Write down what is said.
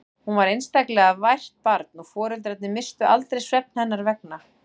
Hún var einstaklega vært barn og foreldrarnir misstu aldrei svefn hennar vegna.